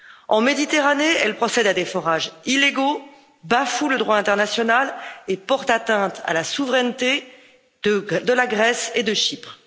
En Méditerranée, elle procède à des forages illégaux, bafoue le droit international et porte atteinte à la souveraineté de la Grèce et de Chypre.